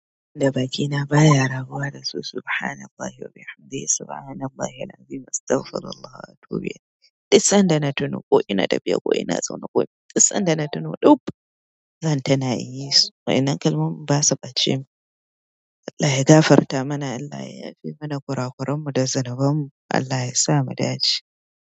Da bakina baya raguwa da su subhanallahi wa bihamdihi subhanallahil azim astaghfirullah wa atubu ilaih. Duk san da na tuno ko ina dafiya ko ina zaune ko duk san da na tuno dub zan ta na yi su. Wa ina kalmomin ba su ɓace min. Allah ya gafarta mana Allah ya yafe mana ƙura ƙuran mu da zunuban mu Allah ya sa mu ɗaci.